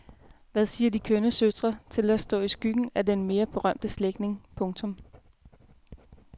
Hvad siger de kønne søstre til at stå i skyggen af den mere berømte slægtning. punktum